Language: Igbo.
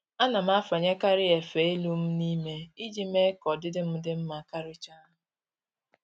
Ana m afanyekarị efe elu m n'ime iji mee ka ọdịdị m dị mma karịcha